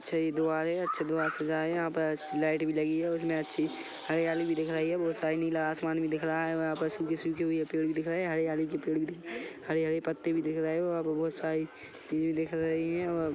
अच्छा ये द्वार है अच्छा द्वार सजाया है यहाँ पे असली लाइट भी लगी है और उसमे अच्छी हरियाली भी दिख रही है बहुत सारा नीला आसमान भी दिख रहा है वहाँ पर सूखे-सूखे पेड़ दिख रहे है हरियाली के पेड़ भी दिख रहे है हरे-हरे पत्ते भी दिख रहे है वहाँ पे बहुत सारी चीज भी दिख रही है और --